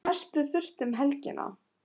Að mestu þurrt um helgina